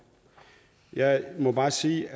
jeg må bare sige